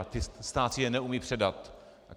A stát si je neumí předat.